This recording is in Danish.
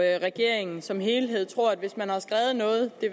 regeringen som helhed tror at hvis man har skrevet noget det